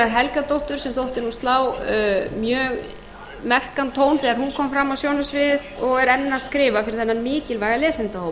helgadóttur sem þótti nú slá mjög merkan tón þegar hún kom fram á sjónarsviðið og er enn að skrifa fyrir þennan mikilvæga lesendahóp